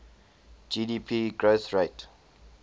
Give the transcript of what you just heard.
gdp growth rate